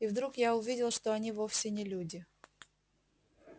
и вдруг я увидел что они вовсе не люди